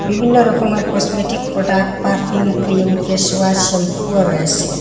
বিভিন্ন রকমের cosmetic product perfume cream face wash শ্যাম্পুও রয়েসে।